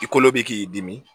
I kolo bɛ k'i dimi